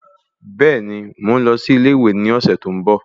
Bẹ́ẹ̀ni, mò ń lọ sí ilé ìwé ní ọ̀sẹ̀ tí ó ń bọ̀